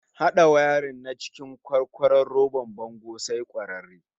Hada wayarin na cikin kwarkwaro robar bango sai kwararre